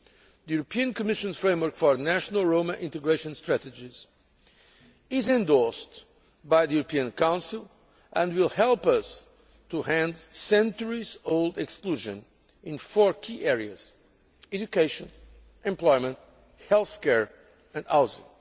The Commission's framework for national Roma integration strategies is endorsed by the European Council and will help us to end centuries old exclusion in four key areas education, employment, healthcare and housing.